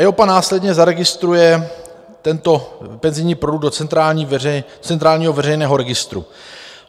EIOPA následně zaregistruje tento penzijní produkt do centrálního veřejného registru.